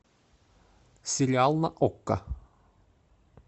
сериал на окко